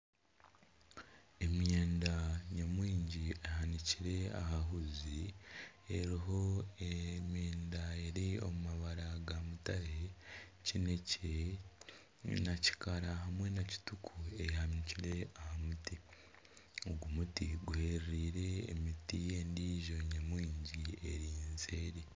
Emyenda nyamwingi ehakire aha huuzi eriho emyenda eri omu mabara gamutare kineekye na kikaara hamwe na kituku eyanikire aha muti ogu muri guhereire emiti ndiijo nyamwingi eri seeri